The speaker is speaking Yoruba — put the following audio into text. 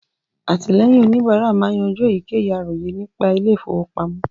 Àtìlẹ́yìn òníbárà máa ń yanjú èyíkéyìí àròyé nípa ilé ìfọwọ́pamọ́